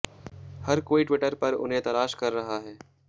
हर कोई ट्विटर पर उन्हें तलाश कर रहा है